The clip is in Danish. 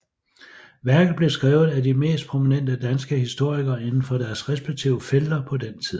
Værket blev skrevet af de mest prominente danske historikere indenfor deres respektive felter på den tid